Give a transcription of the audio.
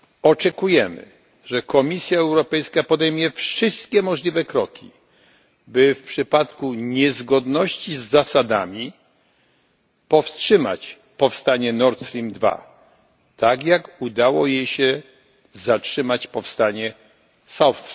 Oczekujemy, że Komisja Europejska podejmie wszystkie możliwe kroki, by w przypadku niezgodności z zasadami powstrzymać powstanie Nord Stream II, tak jak udało jej się zatrzymać powstanie South